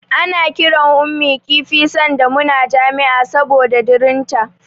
Ana kiran Ummi kifi sanda muna jami'a saboda dirinta.